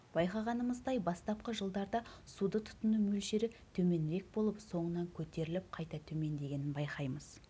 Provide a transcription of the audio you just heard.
байқағанымыздай бастапқы жылдарда суды тұтыну мөлшері төменірек болып соңынан көтеріліп қайта төмендегенін байқаймыз